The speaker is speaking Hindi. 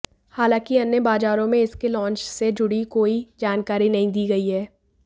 हालांकि अन्य बाजारों में इसके लॉन्च से जुड़ी कोई जानकारी नहीं दी गई है